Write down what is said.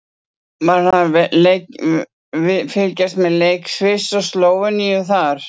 Var hann að fylgjast með leik Sviss og Slóveníu þar?